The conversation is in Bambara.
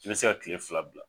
N be se ka tile fila bila.